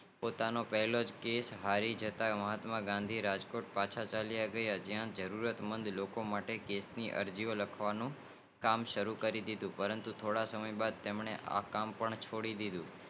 પોતાનો પહેલો કેશ હરિ જતા મહાત્મા ગાંધી રાજકોટ પાંચ ચૈયા ગયા જ્યાં જરૂરત લોકો માટે કેશ ની અરજીઓ લખવાનું કામ સારું કરી દીધું પરંતુ થોડા સમય બાદ તે કામ પણ છોડી દીધું